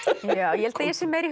ég held að ég sé meira í